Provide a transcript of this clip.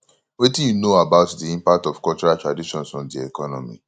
wetin you know about di impact of cultural traditions on di economy